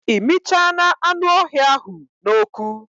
I michana anü öhïa ahu na oku